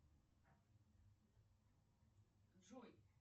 джой